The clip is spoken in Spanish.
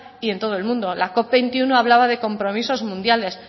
y en todo el mundo la cop veintiuno hablaba de compromisos mundiales